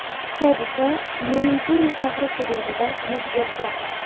Hodisa Maynpuri shahri hududida yuz bergan.